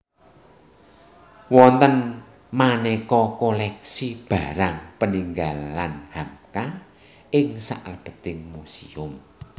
Wonten manéka koléksi barang peninggalan Hamka ing salebeting muséum